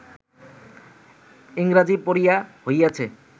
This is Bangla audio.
ইংরাজী পড়িয়া হইয়াছে